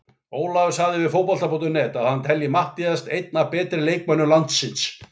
Ólafur sagði við Fótbolta.net að hann telji Matthías einn af betri leikmönnum landsins.